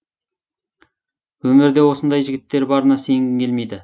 өмірде осындай жігіттер барына сенгің келмейді